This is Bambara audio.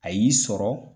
A y'i sɔrɔ